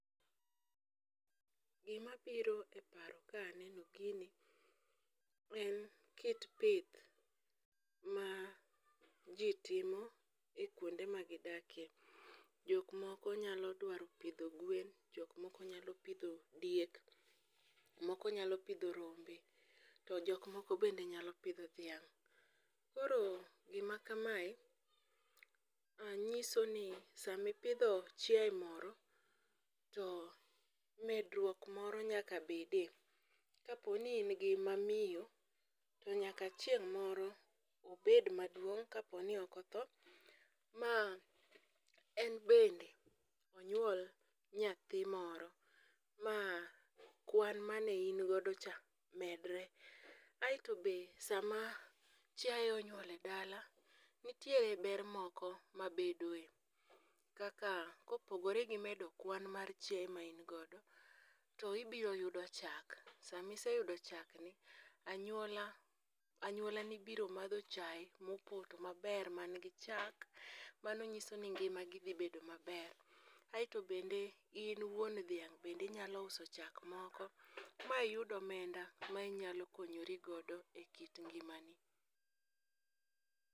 Gimabiro e paro kaneno gini en kit pith ma ji timo kwonde magidakie, jok moko nyalo dwaro pidho gwen, jok moko nyalo dwaro pidho dieke, moko nyalo pidho rombe, to jok moko bende nyalo pidho dhiang' . Koro gima kamae, nyisoni sami ipidho chiaye moro, to medruok moro nyaka bedie, kapo ni in gi mamiyo, to nyaka chieng' moro obed maduong' kapo ni ok otho, ma en bende onyuol nyathi moro, ma kwan mane in godo cha medre, aeto be sama chiaye onyuol e dala, nitie ber moko mabedoe, kaka, kopogore gi medo kwan mar chiaye ma in godo, ibiro yudo chak. Sama iseyudo chakni, anyuola ni biro madho chaye mopoto maber manigi chak, mano nyiso ni ngimagi dhi bedo maber, aeto bende in wuon dhiang' bende inyalo uso chak moro ma iyud omenda ma inyalo konyori godo e kit ngimani.